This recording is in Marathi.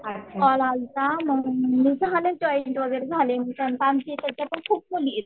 कॉल आलता मग मी झाले जॉईन्ड वगैरे झाले मी कारण खूप मुली आहेत.